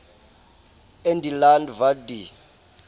in die land wat die